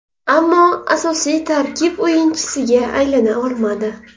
Ammo asosiy tarkib o‘yinchisiga aylana olmadi.